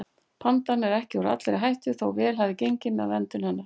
Pandan er ekki úr allri hættu þó vel hafi gengið með verndun hennar.